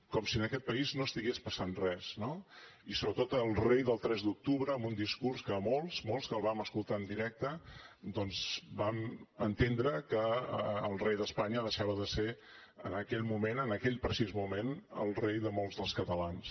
com si en aquest país no estigués passant res no i sobretot el rei del tres d’octubre amb un discurs que molts molts que el vam escoltar en directe doncs vam entendre que el rei d’espanya deixava de ser en aquell moment en aquell precís moment el rei de molts dels catalans